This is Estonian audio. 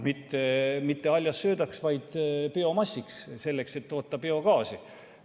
Mitte haljassöödaks, vaid biomassiks, selleks et toota biogaasi.